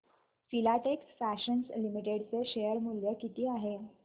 Filatex Fashions Limited चे share मूल्य किती आहे